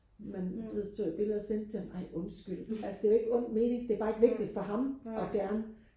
men så tog jeg et billede og sendte til ham ej undskyld altså det er jo ikke ond mening det er bare ikke vigtigt for ham og fjerne